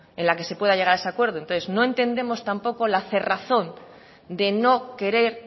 en la que se pueda llegar a ese acuerdo entonces no entendemos tampoco al cerrazón de no querer